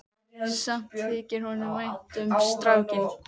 Samt þykir honum vænt um strákinn.